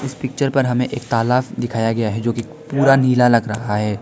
इस पिक्चर पर हमें एक तालाब दिखाया गया है जोकि पूरा नीला लग रहा है।